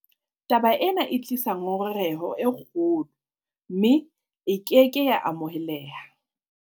Taba ena e tlisa ngongoreho e kgolo, mme e ke ke ya amoheleha.